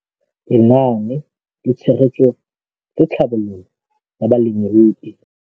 Lenaane la Tshegetso le Tlhabololo ya Balemirui